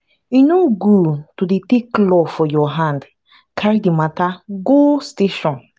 e no good to dey take law for your hand carry di mata go station.